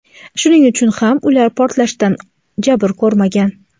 shuning uchun ular portlashdan jabr ko‘rmagan.